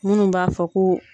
Minnu b'a fɔ ko